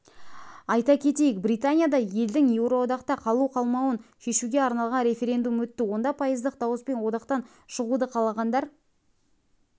айта кетейік британияда елдің еуроодақта қалу-қалмауын шешуге арналған референдум өтті онда пайыздық дауыспен одақтан шығуды қалағандар